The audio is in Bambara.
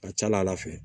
Ka ca ala fɛ